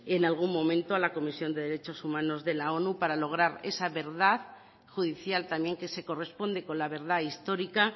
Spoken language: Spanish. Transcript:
en algún momento a la comisión de derechos humanos de la onu para lograr esa verdad judicial también que se corresponde con la verdad histórica